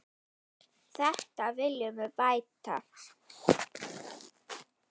Þetta viljum við bæta.